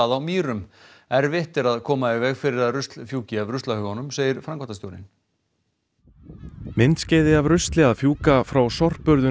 á Mýrum erfitt er að koma í veg fyrir að rusl fjúki af ruslahaugunum segir framkvæmdastjórinn myndskeiði af rusli að fjúka frá sorpurðun